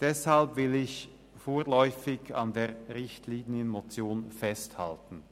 Deshalb will ich vorläufig an der Richtlinienmotion festhalten.